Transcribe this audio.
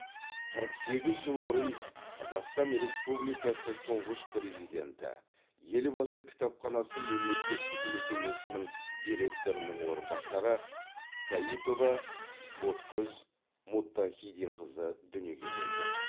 қырық сегіз жыл бұрын қазақстан республикасы тұңғыш президенті елбасы кітапханасы мемлекеттік мекемесінің директорының орынбасары каипова ботгөз мұттахиденқызы дүниеге келді